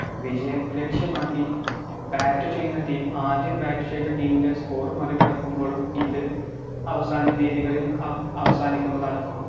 വിജയം ലക്ഷ്യമാക്കി bat ചെയ്യുന്ന team ആദ്യം bat ചെയ്ത team ൻറെ score മറികടക്കുമ്പോളും ഇത് അവസാന രീതികളിൽ അവസാനിക്കുന്നതാണ്